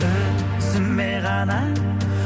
өзіме ғана